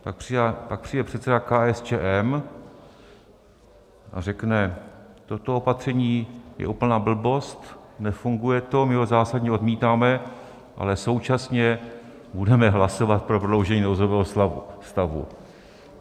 Pak přijde předseda KSČM a řekne: Toto opatření je úplná blbost, nefunguje to, my ho zásadně odmítáme, ale současně budeme hlasovat pro prodloužení nouzového stavu.